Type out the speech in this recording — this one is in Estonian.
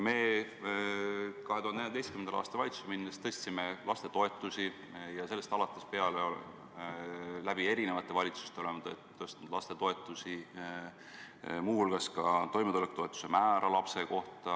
2014. aastal me tõstsime valitsuses olles lastetoetusi ja sellest alates oleme erinevates valitsustes neid toetusi tõstnud, muu hulgas ka toimetulekutoetuse määra lapse kohta.